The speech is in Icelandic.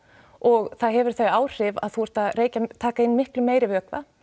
og það hefur þau áhrif að þú ert að taka inn miklu meiri vökva